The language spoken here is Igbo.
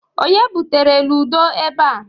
Onye butere ludo ebe a?